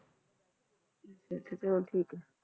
ਅੱਛਾ ਅੱਛਾ ਚਲੋ ਠੀਕ ਹੈ।